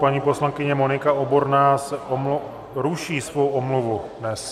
Paní poslankyně Monika Oborná ruší svou omluvu dnes.